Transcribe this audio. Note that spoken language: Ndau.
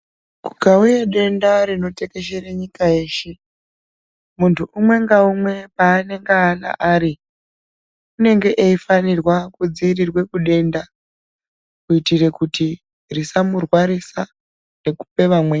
Kukauya denda rinotekeshere nyika yeshe, muntu umwe ngaumwe paanengana ari unenge eifanirwa kudzivirirwe kudenda kuitire kuti tisamurwarisa nekupe vamweni.